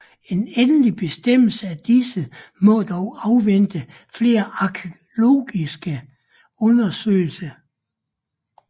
En endelig bestemmelse af disse må dog afvente flere arkæologiske undersøgelser